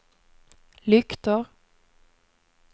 lyktor